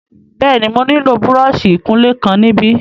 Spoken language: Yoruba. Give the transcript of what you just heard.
Bẹ́ẹ̀ni, mo nílò búrọ́ọ̀ṣì ìkunlé kan níbí.